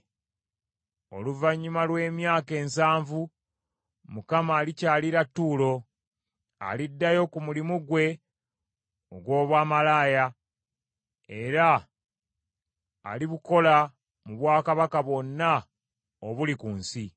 Oluvannyuma lw’emyaka ensanvu, Mukama alikyalira Tuulo. Aliddayo ku mulimu gwe ogw’obwamalaaya, era alibukola mu bwakabaka bwonna obuli ku nsi.